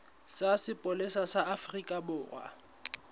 sa sepolesa sa afrika borwa